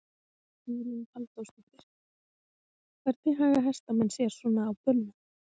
Hugrún Halldórsdóttir: Hvernig haga hestamenn sér svona á böllum?